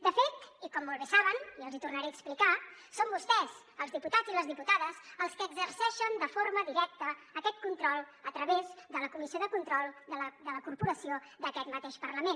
de fet i com molt bé saben i els hi tornaré a explicar són vostès els diputats i les diputades els que exerceixen de forma directa aquest control a través de la comissió de control de la corporació d’aquest mateix parlament